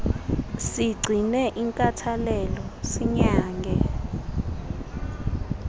sigcine inkathalelo sinyange